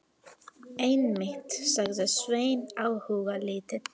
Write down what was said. Einmitt, sagði Sveinn áhugalítill.